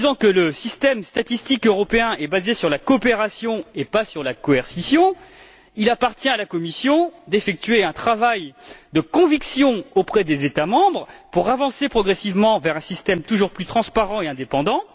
Le système statistique européen est basé sur la coopération et non pas sur la coercition il appartient à la Commission d'effectuer un travail de conviction auprès des États membres pour avancer progressivement vers un système toujours plus transparent et indépendant.